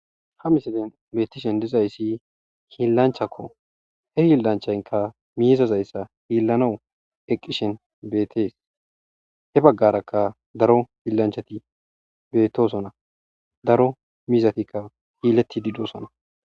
ha misilen beettishen dizayssi hiillanchakko he hilanchaynka miizazayssa hiillano eqqishen beetees he baggarakka daro hiillanchati beetosona daro mizatikka hiiletidi dosona